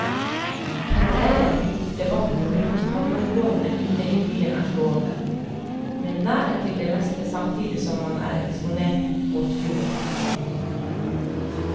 Parallellen til debatten rundt havnområdene inne i byen er slående, med nærhet til det meste samtidig som man er eksponert mot fjorden.